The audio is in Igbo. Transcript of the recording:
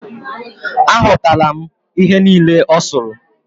Aghotala m ihe niile o suru